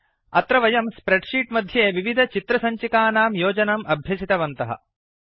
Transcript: अत्र वयम् spreadsheet मध्ये विविधचित्रसञ्चिकानां योजनम् अभ्यसितवन्तः